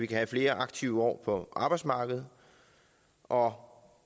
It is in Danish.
kan have flere aktive år på arbejdsmarkedet og